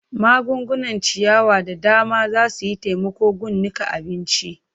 Magungunan ciyawa da dama za su yi taimako gun niƙa abinci.